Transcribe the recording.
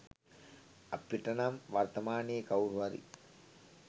අපට නම් වර්තමානයේ කවුරු හරි